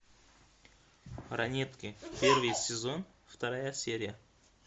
ранетки первый сезон вторая серия